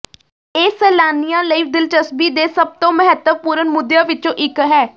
ਇਹ ਸੈਲਾਨੀਆਂ ਲਈ ਦਿਲਚਸਪੀ ਦੇ ਸਭ ਤੋਂ ਮਹੱਤਵਪੂਰਨ ਮੁੱਦਿਆਂ ਵਿੱਚੋਂ ਇੱਕ ਹੈ